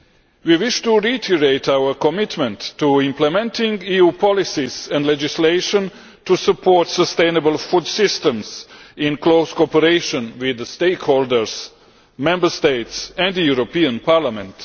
We wish to reiterate our commitment to implementing EU policies and legislation to support sustainable food systems in close cooperation with the stakeholders, Member States and the European Parliament.